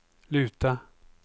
luta